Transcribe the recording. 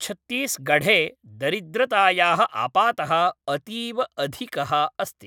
छत्तीसगढ़े दरिद्रतायाः आपातः अतीव अधिकः अस्ति।